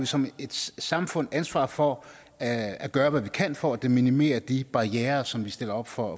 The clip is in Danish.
som et samfund ansvaret for at at gøre hvad vi kan for at minimere de barrierer som vi stiller op for